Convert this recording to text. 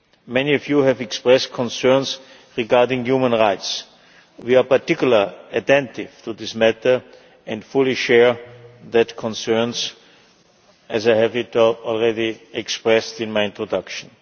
Many of you have expressed concerns regarding human rights. We are particularly attentive to this matter and fully share those concerns, as I have already expressed in my introduction.